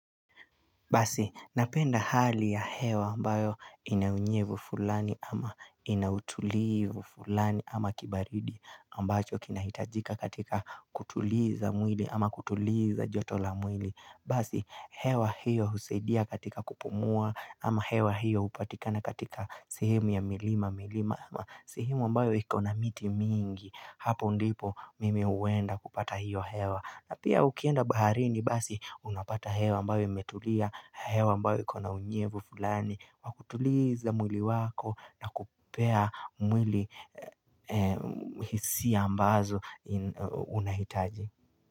Basi, napenda hali ya hewa ambayo inaunyevu fulani ama inautulivu fulani ama kibaridi ambacho kinahitajika katika kutuliza mwili ama kutuliza joto la mwili. Basi, hewa hiyo husedia katika kupumua ama hewa hiyo upatikana katika sehemu ya milima ama sehemu ambayo ikona miti mingi. Hapo ndipo mimi uwenda kupata hiyo hewa na pia ukienda baharini basi unapata hewa ambayo imetulia hewa ambayo iko na unyevu fulani Wakutuliza mwili wako na kupea mwili hisi ambazo unahitaji.